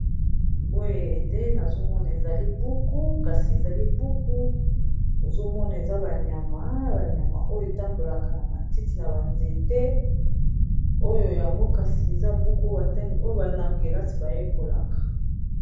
boye nde nazomona eza libuku kasi eza libuku nazomona eza banyama banyama oyo etambolaka na matiti na banzete oyo yango kasi eza buku batani oyo bai na kelasi bayekolaka